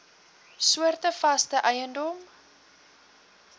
soorte vaste eiendom